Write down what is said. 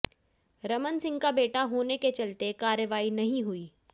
रमन सिंह का बेटा होने के चलते कार्रवाई नहीं हुई